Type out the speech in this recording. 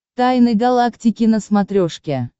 тайны галактики на смотрешке